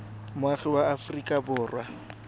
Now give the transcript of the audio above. moagi wa aforika borwa ka